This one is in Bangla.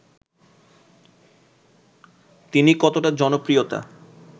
তিনি কতটা জনপ্রিয়তা